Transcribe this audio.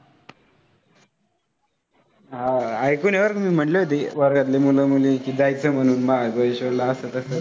हा आह ऐकून आहे बरं मी, म्हणले होतं वर्गातले मुलं मुली की, जायचं म्हणून महाबळेश्वरला असं तसं.